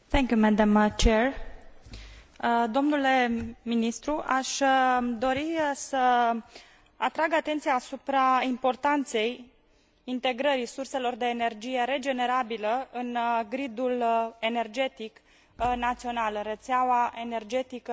Domnule ministru, aș dori să atrag atenția asupra importanței integrării surselor de energie regenerabilă în gridul energetic național, rețeaua energetică europeană fiind formată din rețelele